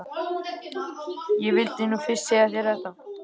Ég vildi nú fyrst segja þér þetta.